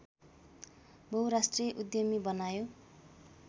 बहुराष्ट्रिय उद्यमी बनायो